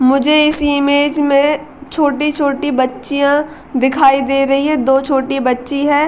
मुझे इस इमेज में छोटी-छोटी बच्चियां दिखाई दे रही है दो छोटी बच्ची है।